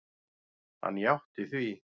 Hann játti því.